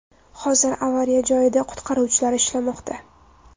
Hozir avariya joyida qutqaruvchilar ishlamoqda.